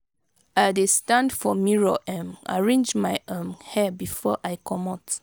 i dey stand for mirror um arrange my um hair before i comot.